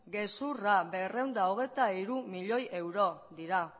gezurra berrehun eta hogeita hiru milioi euro dira